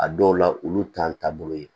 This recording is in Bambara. A dɔw la olu t'an taabolo ye